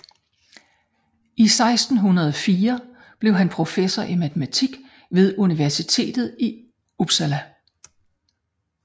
I 1604 blev han professor i matematik ved universitetet i Uppsala